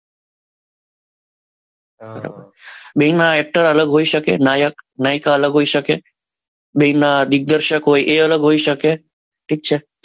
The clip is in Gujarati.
બેમાં એક જ હોઈ શકે નાયક નાયકા અલગ હોઈ શકે બેના દિગ્દર્શક એ અલગ હોઈ શકે ઠીક છે.